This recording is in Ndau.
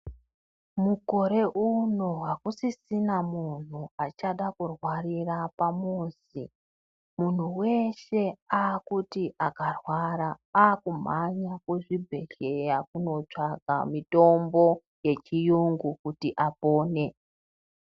Mukore uno akusisisina munhu achada kurwarira pamuzi. Munhu weshe akuti akarwara akumhanya kuzvibhehlera kotsvaga mitombo yechiyungu kuti apone.